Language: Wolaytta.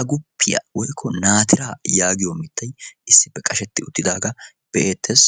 agufiya woykko naatira geetetiyaga be'idde de'eetes.